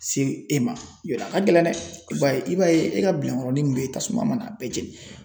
Se e ma yarɔ a ka gɛlɛn dɛ, bari i b'a ye e ka bilankɔrɔnin min bɛ yen tasuma mana a bɛɛ jɛnni na